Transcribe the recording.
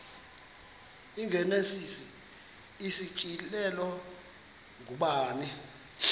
igenesis isityhilelo ngubani